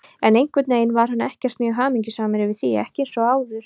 En einhvern veginn var hann ekkert mjög hamingjusamur yfir því, ekki eins og áður.